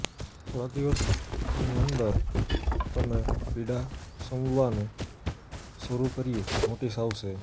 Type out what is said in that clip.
થોડા દિવસની અંદર તમે પીડા શમવાનું શરૂ કર્યું નોટિસ આવશે